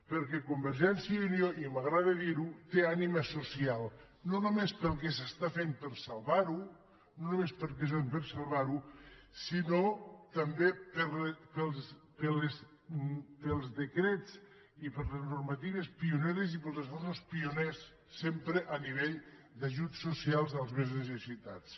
perquè convergència i unió i m’agrada dir ho té ànima social no només pel que es fa per salvar ho no només pel que es fa per salvar ho sinó també pels decrets i per les normatives pioneres i pels esforços pioners sempre a nivell d’ajuts socials dels més necessitats